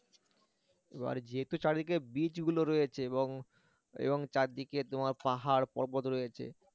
এবার যেহেতু চারিদিকে beach গুলো রয়েছে এবং এবং চারিদিকে তোমার পাহাড় পর্বত রয়েছে